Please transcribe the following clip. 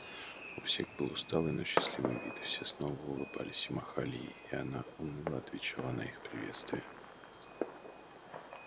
у всех был усталый но счастливый вид и все снова улыбались и махали ей и она уныло отвечала на их приветствия